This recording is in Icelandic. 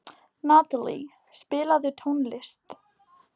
Natalie, spilaðu tónlist.